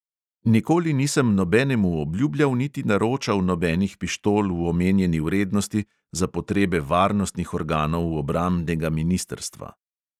Nikoli nisem nobenemu obljubljal niti naročal nobenih pištol v omenjeni vrednosti za potrebe varnostnih organov obrambnega ministrstva.